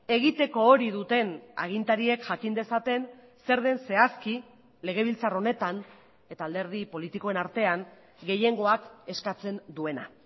egiteko hori duten agintariek jakin dezaten zer den zehazki legebiltzar honetan eta alderdi politikoen artean gehiengoak eskatzen duena